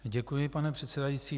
Děkuji, pane předsedající.